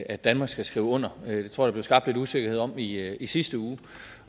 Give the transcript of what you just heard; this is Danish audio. at danmark skal skrive under det tror jeg der blev skabt lidt usikkerhed om i i sidste uge